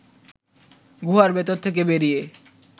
গুহার ভেতর থেকে বেরিয়ে